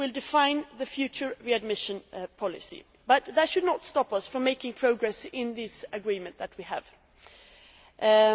It will define the future readmission policy, but that should not stop us from making progress in the agreement that we have before